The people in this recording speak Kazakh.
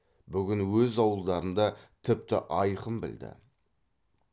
бүгін өз ауылдарында тіпті айқын білді